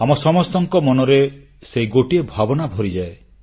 ଆମ ସମସ୍ତଙ୍କ ମନରେ ସେହି ଗୋଟିଏ ଭାବନା ଭରିଯାଏ